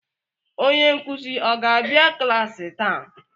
onye nkuzi ọ ga-abịa klaasị taa?